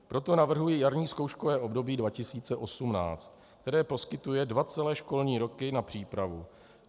Proto navrhuji jarní zkouškové období 2018, které poskytuje dva celé školní roky na přípravu.